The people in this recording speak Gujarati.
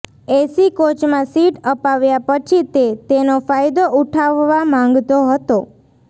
એસી કોચમાં સીટ અપાવ્યા પછી તે તેનો ફાયદો ઉઠાવવા માંગતો હતો